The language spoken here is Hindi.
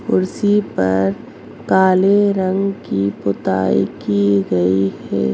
कुर्सी पर काले रंग की पुताई की गयी है।